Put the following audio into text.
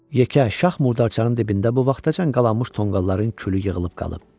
Yekə şax murdarçanın dibində bu vaxtacan qalanmış tonqalların külü yığılıb qalıb.